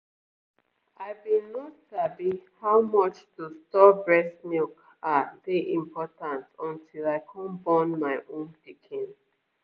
i been no sabi how much to store breast milk ah dey important until i come born my own pikin